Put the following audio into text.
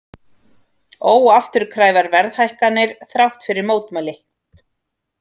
Óafturkræfar verðhækkanir þrátt fyrir mótmæli